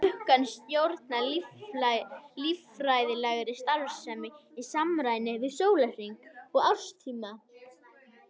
Klukkan stjórnar líffræðilegri starfsemi í samræmi við sólarhring og árstíma.